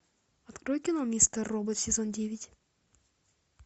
открой кино мистер робот сезон девять